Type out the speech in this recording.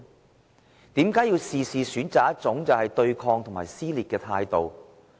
為甚麼事事也要選擇一種對抗和撕裂的態度呢？